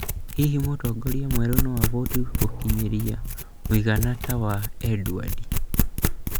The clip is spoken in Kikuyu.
Hihi mũtongoria mwerũ no avote gũkinyĩra mũigana ta wa Edward?